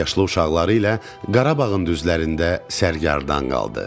Azyalı uşaqları ilə Qarabağın düzlərində sərgarədan qaldı.